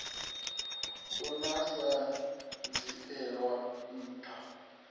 na u sa dzhielwa ntha